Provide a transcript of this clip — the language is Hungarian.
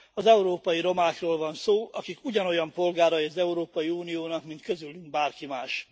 Az európai romákról van szó, akik ugyanolyan polgárai az Európai Uniónak, mint közülünk bárki más.